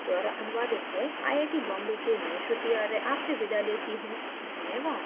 यह स्क्रिप्ट जया द्वारा अनुवादित है आई आई टी बॉम्बे से मैं _____ आपसे विदा लेती हूँ